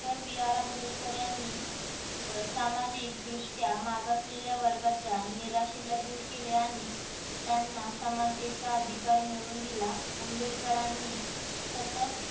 BR Ambedkar यांनी सामाजिक दृष्ट्या मागासलेल्या वर्गांच्या निराशीला दूर केल्याआणि त्यांना समानतेचा अधिकार मिळवून दिला. आंबेडकरांनी सतत